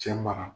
Cɛ mara